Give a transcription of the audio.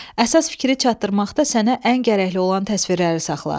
Əsas fikri çatdırmaqda sənə ən gərəkli olan təsvirləri saxla.